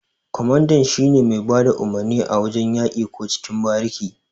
Ƙwamanda shine mai bada umurni a wajan yaki ko cikin bariki.